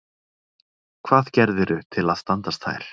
Hvað gerðirðu til að standast þær?